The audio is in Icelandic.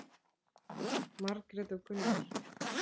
Margrét og Gunnar.